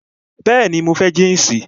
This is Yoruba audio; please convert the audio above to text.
Bẹẹni, mo fẹ́ jínsì